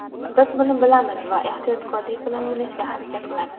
Biz buni bilamiz va ehtiyotkorlik bilan o‘ynashga harakat qilamiz.